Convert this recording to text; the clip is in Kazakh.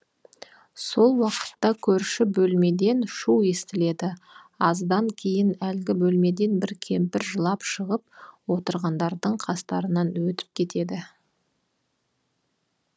сол уақытта көрші бөлмеден шу естіледі аздан кейін әлгі бөлмеден бір кемпір жылап шығып отырғандардың қастарынан өтіп кетеді